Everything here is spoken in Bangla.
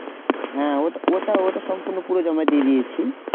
হ্যাঁ ওটা ওটা সম্পূর্ণ পুরো জমা দিয়ে দিয়েছি।